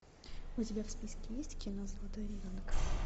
у тебя в списке есть кино золотой ребенок